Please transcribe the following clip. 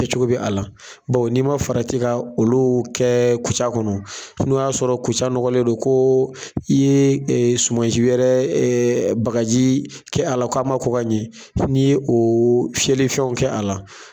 Kɛ cogo bɛ a la, bawo n'i ma farati ka olu kɛ kuca kɔnɔ, n'o y'a sɔrɔ kuca nɔgɔlen don ko i ye suma si wɛrɛ bagaji kɛ a la, k'a ma ko ka ɲɛ. N'i ye o fiyɛli fɛnw kɛ a la